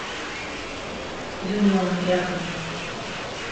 юнион рядом